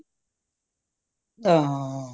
ਹੰ